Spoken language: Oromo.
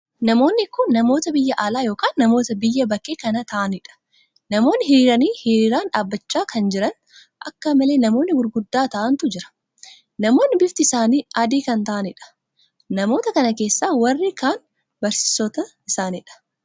Namoonni kun namoota biyya alaa ykn namoota biyya bakkee kan taa'aniidha. namoonni hiriiranii hiriiraan dhaabbachaa kan jira. akkamalee namoonni gurguddaa ta'aantu jira. namoonni bifti isaanii adii kan taa`aniidha. namoota kana keessaa warri kaan barsiisoota isaniidga